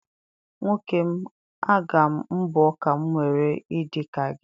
Nwoke m, aga m mbọọ ka m nwere ị dị ka gị.